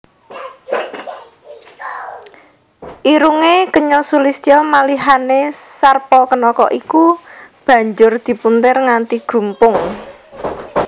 Irungé kenya sulistya malihané Sarpakenaka iku banjur dipuntir nganti grumpung